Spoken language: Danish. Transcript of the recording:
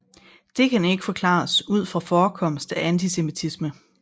Det kan ikke forklares ud fra forekomst af antisemittisme